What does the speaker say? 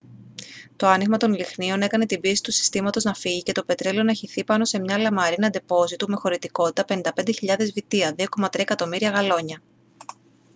το άνοιγμα των λυχνίων έκανε την πίεση του συστήματος να φύγει και το πετρέλαιο να χυθεί πάνω σε μια λαμαρίνα ντεπόζιτου με χωρητικότητα 55.000 βυτία 2,3 εκατομμύρια γαλόνια